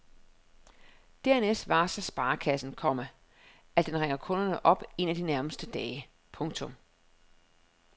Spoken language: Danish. Dernæst varsler sparekassen, komma at den ringer kunden op en af de nærmeste dage. punktum